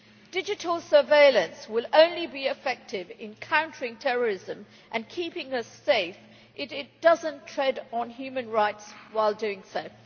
Digital surveillance will be effective in countering terrorism and keeping us safe only if it does not tread on human rights while doing so.